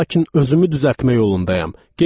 Lakin özümü düzəltmək yolundayam.